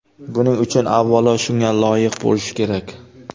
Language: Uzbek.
Buning uchun, avvalo, shunga loyiq bo‘lish kerak.